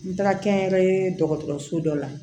N taara kɛnyɛrɛye dɔgɔtɔrɔso dɔ la